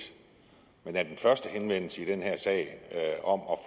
men er den første henvendelse i den her sag om